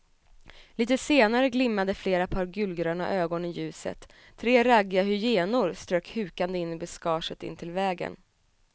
Litet senare glimmade flera par gulgröna ögon i ljuset, tre raggiga hyenor strök hukande in i buskaget intill vägen.